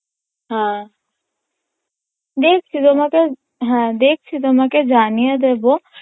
হ্যাঁ দেখছি তোমাকে হ্যাঁ দেখছি তোমাকে জানিয়ে দেবো